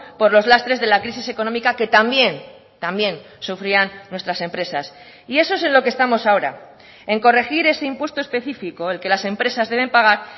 por los lastres de la crisis económica que también también sufrían nuestras empresas y eso es en lo que estamos ahora en corregir ese impuesto específico el que las empresas deben pagar